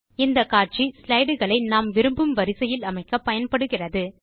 இந்த காட்சி ஸ்லைடு களை நாம் விரும்பும் வரிசையில் அமைக்க பயன்படுகிறது